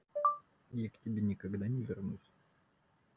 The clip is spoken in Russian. я к тебе никогда не вернусь